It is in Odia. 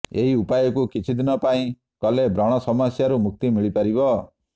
ଏହି ଉପାୟକୁ କିଛି ଦିନ ପାଇଁ କଲେ ବ୍ରଣ ସମସ୍ୟାରୁ ମୁକ୍ତି ମିଳିପାରିବ